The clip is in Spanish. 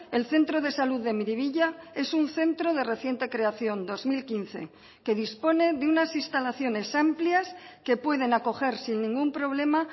el centro de salud de miribilla es un centro de reciente creación dos mil quince que dispone de unas instalaciones amplias que pueden acoger sin ningún problema